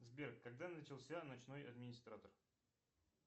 сбер когда начался ночной администратор